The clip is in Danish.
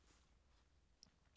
DR K